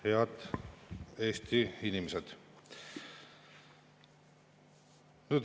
Head Eesti inimesed!